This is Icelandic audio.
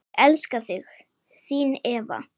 Ég elska þig, þín Eva.